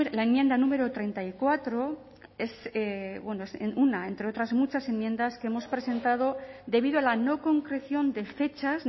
la enmienda número treinta y cuatro es una entre otras muchas enmiendas que hemos presentado debido a la no concreción de fechas